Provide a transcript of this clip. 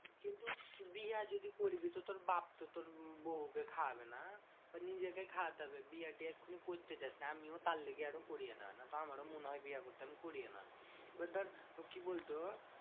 কিন্তু বিহা যদি করবি তো তোর বাপ্ তো তোর বৌকে খাওয়াবে না? নিজেকে খাওয়াতে হবে। বিয়ে টিয়ে এক্ষুনি করতে যাস না। আমিও তার লিগে আরো করিয়েনা না। আমারও মনে হয় বিয়ে করতে আমি করিয়েনা না। এবার ধর কি বলতো?